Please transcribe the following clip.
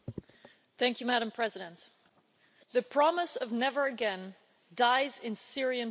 Madam President, the promise of never again' dies in Syrian prisons.